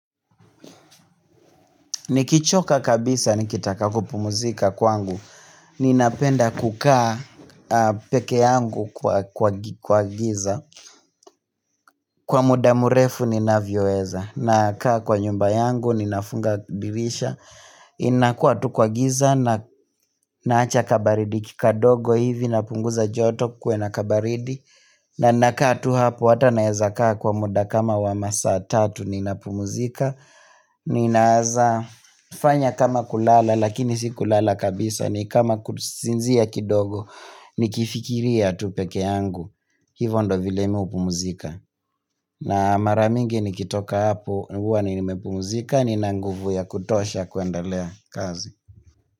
Nikichoka kabisa nikitaka kupumzika kwangu Ninapenda kukaa pekee yangu kwa giza kwa muda mrefu ninavyoweza. Nakaa kwa nyumba yangu ninafunga dirisha inakua tu kwa giza na nawacha kabaridi ki kadogo hivi napunguza joto kuwe na kabaridi na nakaa tu hapo hata naweza kaa kwa muda kama wa masaa tatu ninapumzika Ninaweza fanya kama kulala lakini si kulala kabisa ni kama kusinzia kidogo Nikifikiria tu pekee yangu. Hivyo ndo vile mi hupumzika na mara mingi nikitoka hapo huwa ni nimepumzika nina nguvu ya kutosha kuendelea kazi.